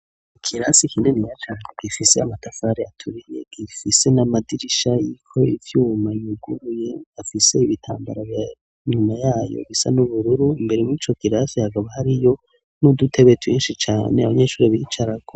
Ikirasi kininiya cane gifise amatafari aturiye, gifise n'amadirisha ariko ivyuma yuguruye, afise ibitambara, inyuma yayo bisa n'ubururu, imbere muri ico kirasi hakaba hariyo n'udutebe twinshi cane abanyeshure bicarako.